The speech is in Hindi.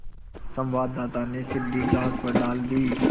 संवाददाता ने सीढ़ी घास पर डाल दी